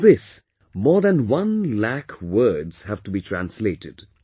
In this, more than 1 lakh words have to be translated